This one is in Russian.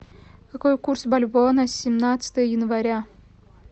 какой курс бальбоа на семнадцатое января